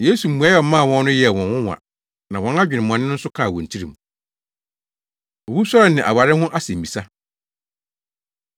Yesu mmuae a ɔmaa wɔn no yɛɛ wɔn nwonwa na wɔn adwemmɔne no nso kaa wɔn tirim. Owusɔre Ne Aware Ho Asɛmmisa